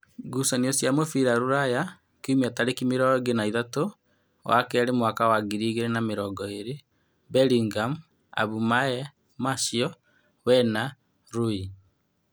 Ngucanio cia mũbira Rūraya Kiumia tarĩki mĩrongo ĩrĩ na ithatũ wa keerĩ mwaka wa ngiri igĩrĩ na mĩrongo ĩrĩ: Mberingam, Abumaye, Martial, Wena, Rui